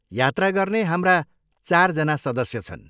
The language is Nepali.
यात्रा गर्ने हाम्रा चारजना सदस्य छन्।